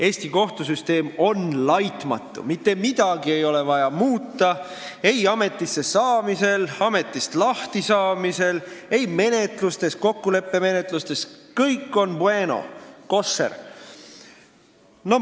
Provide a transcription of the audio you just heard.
Eesti kohtusüsteem on laitmatu, mitte midagi ei ole vaja muuta ei ametisse saamisel, ametist lahtisaamisel, ei menetlustes, kokkuleppemenetlustes – kõik on bueno, koššer!